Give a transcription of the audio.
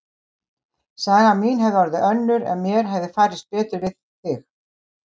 Saga mín hefði orðið önnur ef mér hefði farist betur við þig.